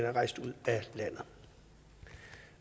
er rejst ud af landet